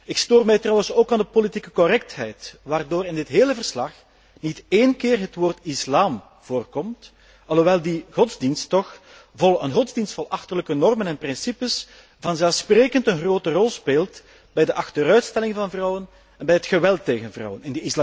Ik stoor mij trouwens ook aan de politieke correctheid waardoor in dit hele verslag niet één keer het woord islam voorkomt, hoewel die godsdienst vol achterlijke normen en principes vanzelfsprekend een grote rol speelt bij de achterstelling van vrouwen en bij het geweld tegen vrouwen.